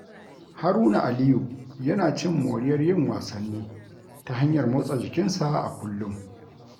Haruna Aliyu yana cin moriyar yin wasanni ta hanyar motsa jikinsa a kullum.